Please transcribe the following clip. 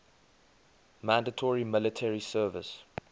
mandatory military service